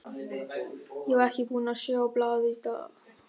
Ég var ekki búinn að sjá blaðið í dag.